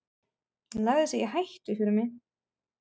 Lagði sig í hættu fyrir mig.